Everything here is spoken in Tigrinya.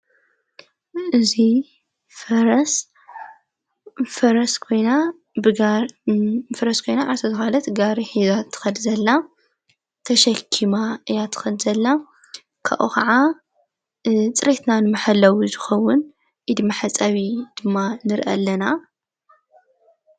እዙይ ፈረስ ፈረስ ኮይና ጋሪ ሒዛ ትኸድ ዘላ ተሸኪማ እያ ትኸድ ዘላ ካብኡ ኸዓ ጥርትናን መሐለዊ ዝኸዉን ኢድ መሕጸዊ ድማ ንርአ ኣለና።